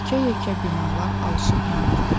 Yekə-yekə binalar alışıb yanırdı.